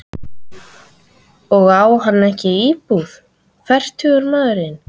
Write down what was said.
Og á hann ekki íbúð, fertugur maðurinn?